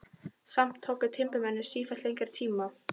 Samt tóku timburmennirnir sífellt lengri tíma.